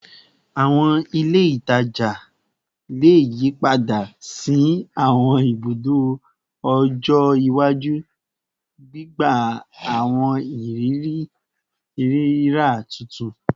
Awọn ile itaja le yipada si awọn ibudo ọjọ iwaju, gbigba awọn iriri rira tuntun